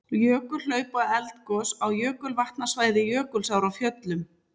Jökulhlaup og eldgos á jökulvatnasvæði Jökulsár á Fjöllum.